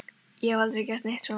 Ég hef aldrei gert neitt svona.